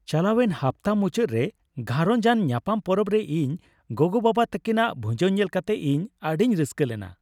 ᱪᱟᱞᱟᱣᱮᱱ ᱦᱟᱯᱛᱟ ᱢᱩᱪᱟᱹᱫ ᱨᱮ ᱜᱷᱟᱨᱚᱸᱡᱽ ᱟᱱ ᱧᱟᱯᱟᱢ ᱯᱚᱨᱚᱵ ᱨᱮ ᱤᱧ ᱜᱚᱜᱚᱼᱵᱟᱵᱟ ᱛᱟᱹᱠᱤᱱᱟ ᱵᱷᱩᱡᱟᱹᱣ ᱧᱮᱞ ᱠᱟᱛᱮ ᱤᱧ ᱟᱹᱰᱤᱧ ᱨᱟᱹᱥᱠᱟᱹ ᱞᱮᱱᱟ ᱾